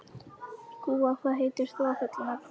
Gúa, hvað heitir þú fullu nafni?